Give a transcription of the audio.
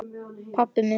Pabbi minn?